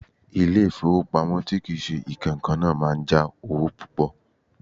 Ilé-ifowopamo tí kì í ṣe ìkankan náà máa ń já owó púpò.